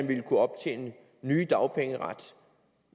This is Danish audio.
ville kunne optjene ny dagpengeret